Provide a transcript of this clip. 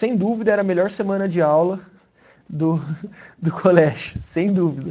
Sem dúvida era a melhor semana de aula do do colégio, sem dúvida.